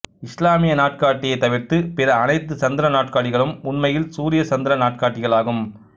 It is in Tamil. இசுலாமிய நாட்காட்டியைத் தவிர்த்து பிற அனைத்து சந்திர நாட்காட்டிகளும் உண்மையில் சூரியசந்திர நாட்காட்டிகள் ஆகும்